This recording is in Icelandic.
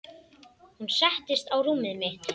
Hún settist á rúmið mitt.